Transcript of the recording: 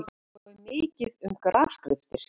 Svo er mikið um grafskriftir.